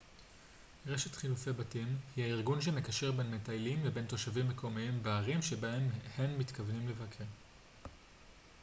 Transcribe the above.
רשת חילופי בתים היא הארגון שמקשר בין מטיילים לבין תושבים מקומיים בערים שבהן הם מתכוונים לבקר